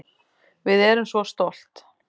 Við erum svo stolt